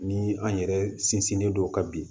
Ni an yɛrɛ sinsinnen don o kan bi